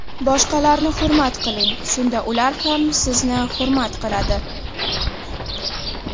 Boshqalarni hurmat qiling, shunda ular ham sizni hurmat qiladi!